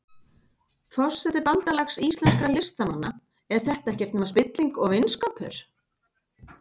Forseti Bandalags íslenskra listamanna, er þetta ekkert nema spilling og vinskapur?